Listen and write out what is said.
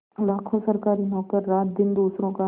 लाखों सरकारी नौकर रातदिन दूसरों का